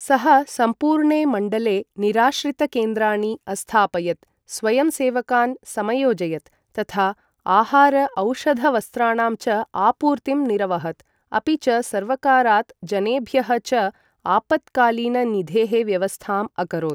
सः सम्पूर्णे मण्डले निराश्रित केन्द्राणि अस्थापयत्, स्वयंसेवकान् समयोजयत्, तथा आहार औषध वस्त्राणां च आपूर्तिम् निरवहत्, अपि च सर्वकारात्, जनेभ्यः च आपत्कालीननिधेः व्यवस्थाम् अकरोत्।